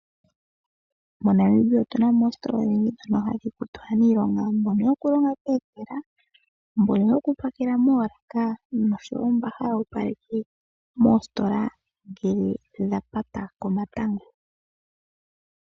MoNamibia otuna mo oositola odhindji dhono hadhi kutu aaniilonga mbono yokulonga pomafutilo, mbono yokupakela moolaka noshowo mbo haya opaleke moositola ngele dha pata komatango.